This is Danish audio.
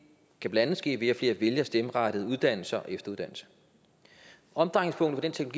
kan blandt andet ske ved at flere vælger stem rettede uddannelser og efteruddannelse omdrejningspunktet